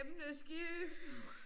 Emneskift